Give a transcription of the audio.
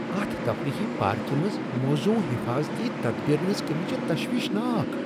اتھ تفریحی پارکہ منٛز موزون حفاظتی تدبیرن ہنٛز کٔمی چھِ تشویشناک۔